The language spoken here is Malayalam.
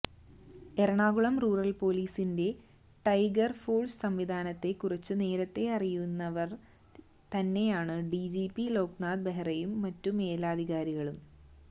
എറണാകുളം റൂറൽ പൊലീസിന്റെ ടൈഗർ ഫോഴ്സ് സംവിധാനത്തെ കുറിച്ചു നേരത്തെ അറിയാവുന്നവർ തന്നെയാണു ഡിജിപി ലോക്നാഥ് ബെഹ്റയും മറ്റു മേലധികാരികളും